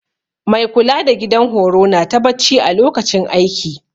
Mai kula da gidan horo nata bacci a lokacin aiki